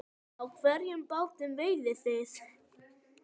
Á hvernig bátum veiðið þið?